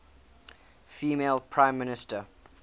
female prime minister